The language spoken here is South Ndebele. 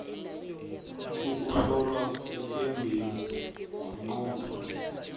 ukuhlolwa kwembewu ngomnqopho